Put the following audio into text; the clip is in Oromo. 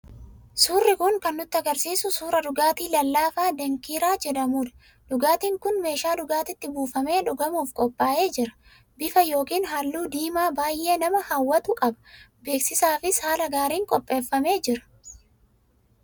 Suurri kun kan nu argisiisu suura dhugaatii lallaafaa dankiiraa jedhamudha. Dhugaatiin kun meeshaa dhugaatiitti buufamee dhugamuuf qophaa'ee jira. Bifa yookiin halluu diimaa baay'ee nama hawwatu qaba. Beeksisaafis haala gaariin qopheeffamee jira.